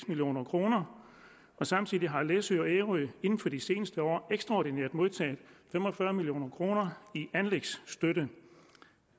million kroner samtidig har læsø og ærø inden for de seneste år ekstraordinært modtaget fem og fyrre million kroner i anlægsstøtte